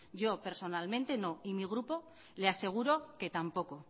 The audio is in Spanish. yo personalmente no y mi grupo le aseguro que tampoco